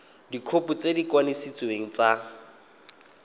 dikhopi tse di kanisitsweng tsa